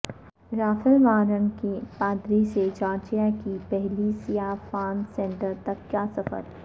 Rafale Warnock کا پادری سے جارجیا کے پہلے سیاہ فام سینیٹر تک کا سفر